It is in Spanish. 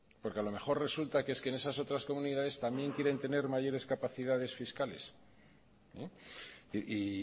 porque a lo mejor resulta que es que en esas otras comunidades también quieren tener mayores capacidades fiscales y